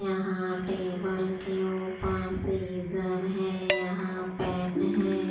यहां टेबल के ऊपर सीजर है यहां पेन है।